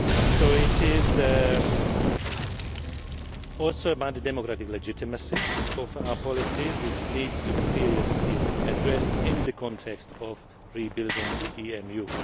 EMU. So it is also a matter of the democratic legitimacy of our policies, which needs to be seriously addressed in the context of rebuilding the